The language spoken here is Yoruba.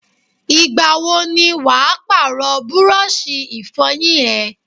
Ìgbàwo ni wàá Pààrọ̀ búrọ́ọ̀ṣì Ìfọ̀yín ẹ?